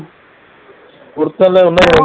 குடுத்தால்ல